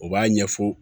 U b'a ɲɛfɔ